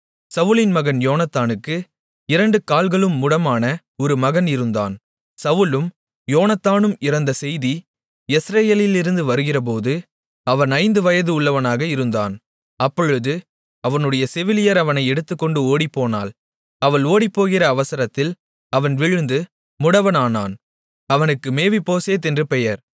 சவுலின் மகன் யோனத்தானுக்கு இரண்டு கால்களும் முடமான ஒரு மகன் இருந்தான் சவுலும் யோனத்தானும் இறந்த செய்தி யெஸ்ரயேலிலிருந்து வருகிறபோது அவன் ஐந்து வயது உள்ளவனாக இருந்தான் அப்பொழுது அவனுடைய செவிலியர் அவனை எடுத்துக்கொண்டு ஓடிப்போனாள் அவள் ஓடிப்போகிற அவசரத்தில் அவன் விழுந்து முடவன் ஆனான் அவனுக்கு மேவிபோசேத் என்று பெயர்